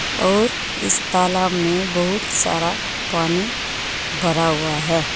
और इस तालाब में बहुत सारा पानी भरा हुआ है।